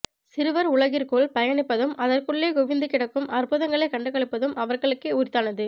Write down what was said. சிறுவர் உலகிற்குள் பயணிப்பதும் அதற்குள்ளே குவிந்துகிடக்கும் அற்புதங்களை கண்டுகளிப்பதும் அவர்களுக்கே உரித்தானது